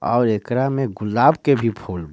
और एकरा में गुलाब के भी फूल बा।